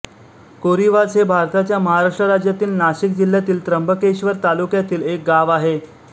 कोरीवाझ हे भारताच्या महाराष्ट्र राज्यातील नाशिक जिल्ह्यातील त्र्यंबकेश्वर तालुक्यातील एक गाव आहे